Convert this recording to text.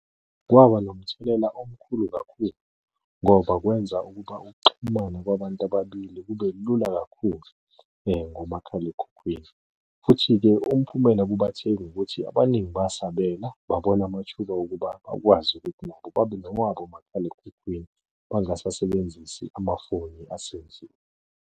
Kwaba nomthelela omkhulu kakhulu ngoba kwenza ukuba ukuxhumana kwabantu ababili kube lula kakhulu ngomakhalekhukhwini, futhi-ke umphumela kubathengi ukuthi abaningi basabela babona amathuba okuba bakwazi ukuthi nabo babe nababo omakhalekhukhwini bangasasebenzisi amafoni asendlini.